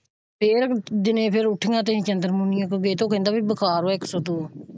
ਫ਼ੇਰ ਦਿਨੇ ਫ਼ੇਰ ਉੱਠੀਆਂ ਤੇ ਚੰਦਰ ਮੁਨੀਏ ਕੋਲ ਗਏ ਤੇ ਉਹ ਕਹਿੰਦਾ ਕੀ ਬੁਖਾਰ ਹੈ ਇੱਕ ਸੋ ਦੋ।